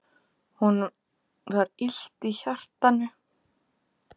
Honum var illt í hjartanu.